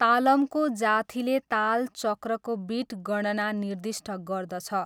तालमको जाथीले ताल चक्रको बिट गणना निर्दिष्ट गर्दछ।